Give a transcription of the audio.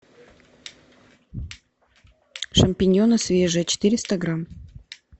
шампиньоны свежие четыреста грамм